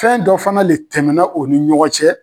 Fɛn dɔ fana le tɛmɛna o ni ɲɔgɔn cɛ.